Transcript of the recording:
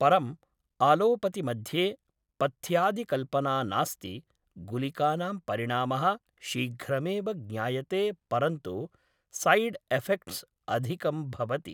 परम् आलोपति मध्ये पथ्यादिकल्पना नास्ति गुलिकानां परिणामः शीघ्रमेव ज्ञायते परन्तु सैड्एफ़ेक्ट्स् अधिकं भवति